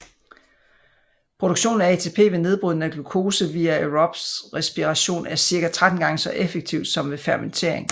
Produktionen af ATP ved nedbrydning af glukose via aerob respiration er cirka 13 gange så effektiv som ved fermentering